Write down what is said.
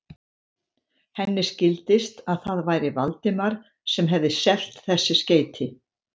Henni skildist, að það væri Valdimar sem hefði selt þessi skeyti.